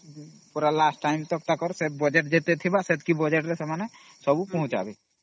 Last Time ଯା ଏ ଯେତିକି budget ଥିବା ସେମାନେ ସବୁ ଆଣିକି ଯୋଗେଇବେ